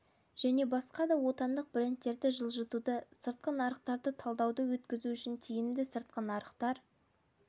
кі және басқа да отандық брендтерді жылжытуды сыртқы нарықтарды талдауды өткізу үшін тиімді сыртқы нарықтар